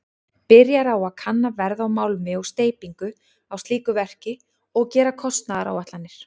Byrjar á að kanna verð á málmi og steypingu á slíku verki og gera kostnaðaráætlanir.